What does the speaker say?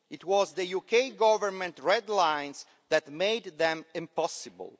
It was the UK Government's red lines that made them impossible.